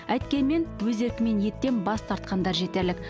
әйткенмен өз еркімен еттен бас тартқандар жетерлік